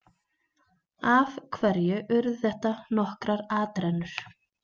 Af hverju urðu þetta nokkrar atrennur?